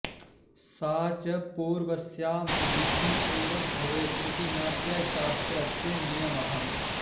सा च पूर्वस्यां दिशि एव भवेत् इति नाट्यशास्त्रस्य नियमः